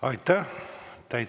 Aitäh!